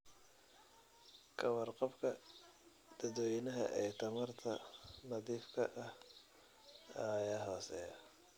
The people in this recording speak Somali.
Ka warqabka dadweynaha ee tamarta nadiifka ah ayaa hooseeya.